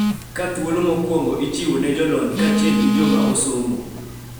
Ka thuolo mokwongo ichiwo ne jolony kaachiel gi joma osomo